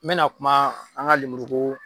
N mɛna kuma an ga lemuru ko